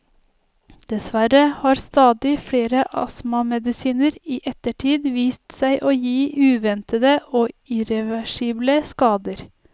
Dessverre har stadig flere astmamedisiner i ettertid vist seg å gi uventede og irreversible skader.